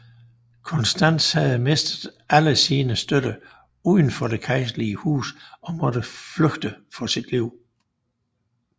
Konstans havde mistet alle sine støtter udenfor det kejserlige hus og måtte flygte for sit liv